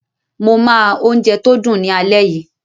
Mo máa oúnje tó dùn ní alé yìí.